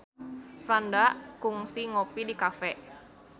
Franda kungsi ngopi di cafe